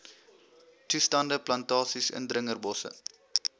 toestande plantasies indringerbosse